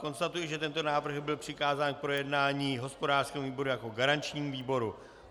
Konstatuji, že tento návrh byl přikázán k projednání hospodářskému výboru jako garančnímu výboru.